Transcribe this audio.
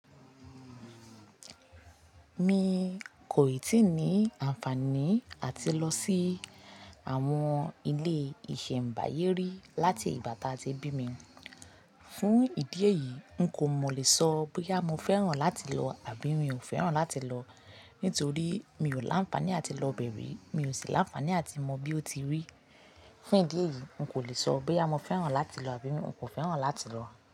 Mi kò ì tí ní àǹfààní àti lọ sí àwọn ilé-ìṣẹ̀m̀báyé rí láti ìgbà tí a ti bí mi. Fún ìdí èyí, n kò mọ̀ lè sọ bí àmọ́ fẹ́ràn láti lọ àbí mi ò fẹ́ràn láti lọ, nítorí mi ò láǹfààní àti lọ bẹ̀rẹ̀, mi ò sì láǹfààní àti mọ bí ó ti rí. Fún ìdí èyí, n kò lè sọ bí àmọ́ fẹ́ràn láti lọ àbí mi ò fẹ́ràn láti lọ.